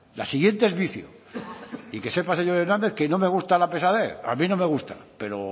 la siguiente es vicio y que sepa señor hernández que no me gusta la pesadez a mí no me gusta pero